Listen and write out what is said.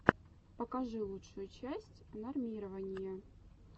покажи лучшую часть нормирования